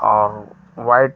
और व्हाइट